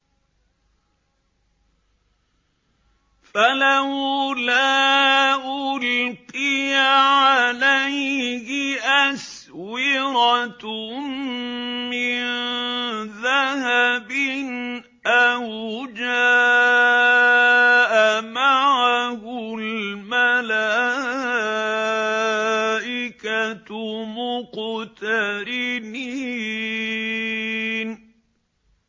فَلَوْلَا أُلْقِيَ عَلَيْهِ أَسْوِرَةٌ مِّن ذَهَبٍ أَوْ جَاءَ مَعَهُ الْمَلَائِكَةُ مُقْتَرِنِينَ